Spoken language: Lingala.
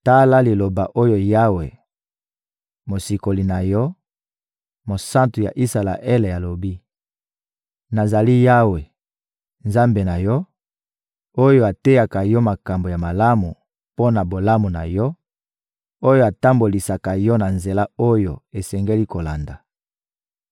Tala liloba oyo Yawe, Mosikoli na yo, Mosantu ya Isalaele, alobi: «Nazali Yawe, Nzambe na yo, oyo ateyaka yo makambo ya malamu mpo na bolamu na yo; oyo atambolisaka yo na nzela oyo osengeli kolanda.